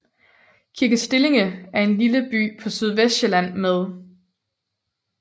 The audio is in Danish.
Kirke Stillinge er en lille by på Sydvestsjælland med